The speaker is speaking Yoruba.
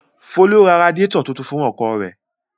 Folú ra radiátọ̀ tuntun fún ọkọ̀ rẹ̀?